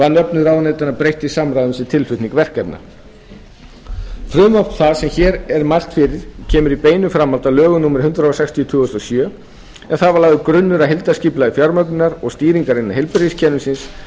var nöfnum ráðuneytanna breytt til samræmis við tilflutning verkefna frumvarp það sem hér er mælt fyrir kemur í beinu framhaldi af lögum númer hundrað sextíu tvö þúsund og sjö en þar var lagður grunnur að heildarskipulagi fjármögnunar og stýringar innan heilbrigðiskerfisins